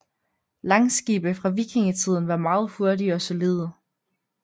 Langskibe fra vikingetiden var meget hurtige og solide